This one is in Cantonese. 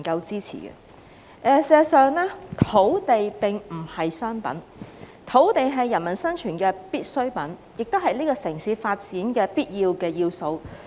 事實上，土地並不是商品，而是人民生存的必需品，亦是這個城市發展的必要要素。